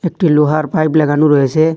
একটি লোহার পাইপ লাগানো রয়েসে।